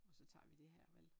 Så tager vi det her vel